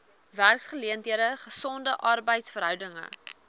werksgeleenthede gesonde arbeidsverhoudinge